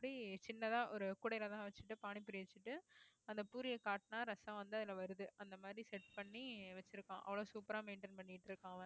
இப்படி சின்னதா ஒரு கூடையிலதான் வச்சுட்டு panipuri வச்சுட்டு அந்த பூரியை காட்டுனா ரசம் வந்து அதுல வருது அந்த மாதிரி set பண்ணி வச்சிருக்கான் அவ்வளவு super ஆ maintain பண்ணிட்டு இருக்கான்